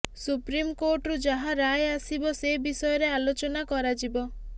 ସୁପ୍ରିମକୋର୍ଟରୁ ଯାହା ରାୟ ଆସିବ ସେ ବିଷୟରେ ଆଲୋଚନା କରାଯିବ